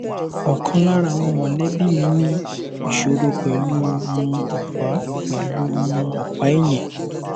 ọkan lára àwọn mọlẹbi mi ní ìṣòro pẹlú u ọpa pẹlú u ọpa ẹyìn